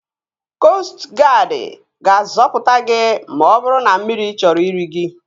Koostụ guadi ga-azọpụta gị ma ọ bụrụ na mmiri chọrọ iri gị